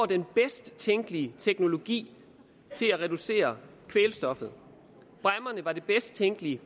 den bedst tænkelige teknologi til at reducere kvælstoffet bræmmerne var den bedst tænkelige